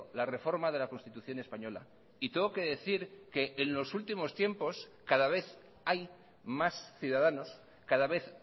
la reforma de la constitución española y tengo que decir que en los últimos tiempos cada vez hay más ciudadanos cada vez